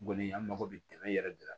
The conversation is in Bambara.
Kɔni an mako bɛ dɛmɛ yɛrɛ de la